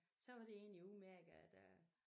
Så var det egentlig udmærket at der